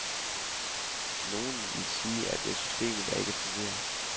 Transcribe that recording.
Nogle vil sige, at det er systemet, der ikke fungerer.